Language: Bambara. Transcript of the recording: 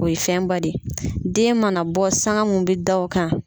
O ye fɛnba de ye, den mana bɔ sanga munnu bɛ da o kan.